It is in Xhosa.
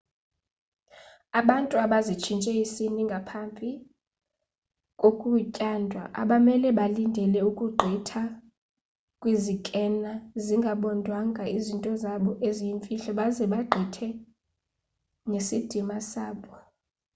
abantu abazitshintshe isini ngaphapi kokutyandwa abamele balindele ukugqitha kwizikena zingabondwanga izinto zabo eziyimfihlo baze bagqithe nesidima sabo